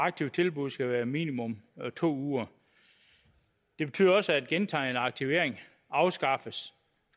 aktive tilbud skal være på minimum to uger det betyder også at gentagen aktivering afskaffes